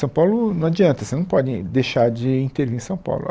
São Paulo não adianta, você não pode deixar de intervir em São Paulo.